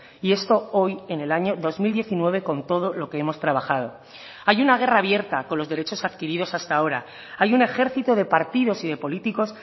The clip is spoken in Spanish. y esto hoy en el año dos mil diecinueve con todo lo que hemos trabajado hay una guerra abierta con los derechos adquiridos hasta ahora hay un ejército de partidos y de políticos